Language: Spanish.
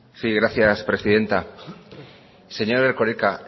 sí gracias presidenta señor erkoreka